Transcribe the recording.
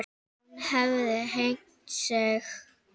Hún hefði hengt sig.